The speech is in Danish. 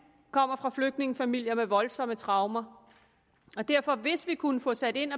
kommer fra flygtningefamilier med voldsomme traumer derfor hvis vi kunne få sat ind